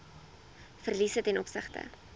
verliese ten opsigte